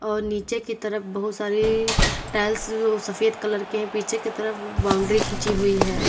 और नीचे की तरफ बहुत सारे टाइल्स जो सफेद कलर के हैं पीछे की तरफ बाउंड्री खींची हुई है।